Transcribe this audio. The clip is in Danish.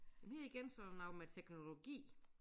Men her igen så der noget med teknologi